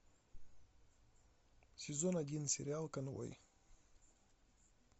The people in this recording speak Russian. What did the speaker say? сезон один сериал конвой